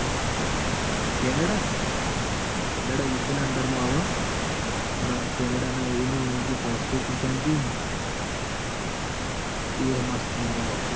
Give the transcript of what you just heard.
પણ કેનેડા ના જો constitution રયુ ન? હમ એ મસ્ત એ આખું એનું.